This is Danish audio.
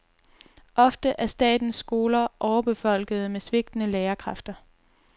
Ofte er statens skoler overbefolkede med svigtende lærerkræfter.